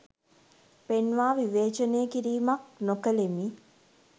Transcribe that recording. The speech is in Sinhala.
පෙන්වා විවේචනය කිරීමක් නොකලෙමි